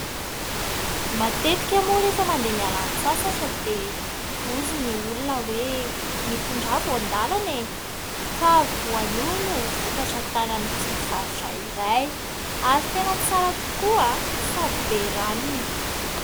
Matetika moa rehefa mandeha miala sasatra dia hoy ny olona hoe : mitondrà voandalana. Ka voanio no vokatra tany amin'ity faritra iray, ary tena tsara tokoa, sady be ranony.